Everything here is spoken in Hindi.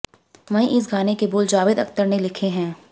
वहीं इस गाने के बोल जावेद अख्तर ने लिखे हैं